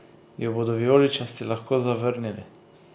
Jo bodo vijoličasti lahko zavrnili?